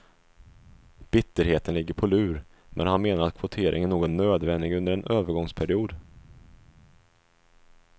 Bitterheten ligger på lur, men han menar att kvoteringen nog är nödvändig under en övergångsperiod.